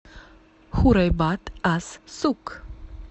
хурайбат ас сук